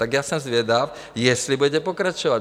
Tak já jsem zvědav, jestli budete pokračovat.